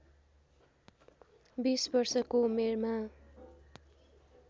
२० वर्षको उमेरमा